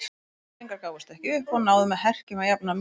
Hafnfirðingar gáfust ekki upp og náðu með herkjum að jafna metin.